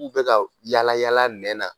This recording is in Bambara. K'u bɛ ka w yaala yalala nɛn na